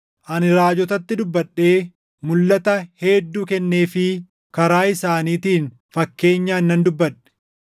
Ani raajotatti dubbadhee mulʼata hedduu kenneefii karaa isaaniitiin fakkeenyaan nan dubbadhe.”